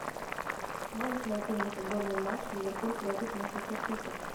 можешь найти мне футбольный матч ливерпуль против манчестер сити